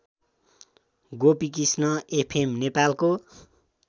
Gopikrishna FM नेपालको